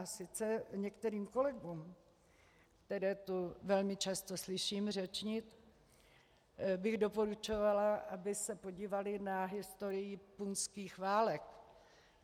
A sice některým kolegům, které tu velmi často slyším řečnit, bych doporučovala, aby se podívali na historii punských válek.